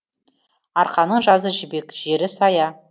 арқаның жазы жібек жері сая